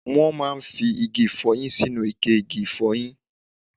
Wón máa fí igi ifoyin sínú ikẹ igi ifoyin